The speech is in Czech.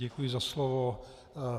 Děkuji za slovo.